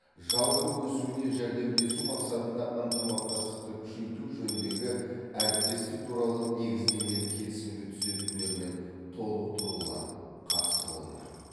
жалпы өсуіне жәрдемдесу мақсатында ынтымақтастықты күшейту жөніндегі әріптестік туралы негіздемелік келісімге түзетулер мен толықтырулар қатысты болмақ